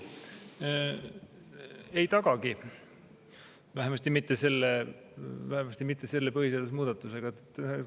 Ei tagagi, vähemasti mitte selle põhiseaduse muudatusega.